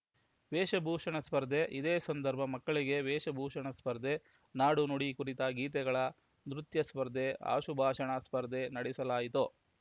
ವೇಷಭೂಷಣ ಸ್ಪರ್ಧೆ ಇದೇ ಸಂದರ್ಭ ಮಕ್ಕಳಿಗೆ ವೇಷಭೂಷಣ ಸ್ಪರ್ಧೆ ನಾಡು ನುಡಿ ಕುರಿತ ಗೀತೆಗಳ ನೃತ್ಯ ಸ್ಪರ್ಧೆ ಆಶುಭಾಷಣ ಸ್ಪರ್ಧೆ ನಡೆಸಲಾಯಿತು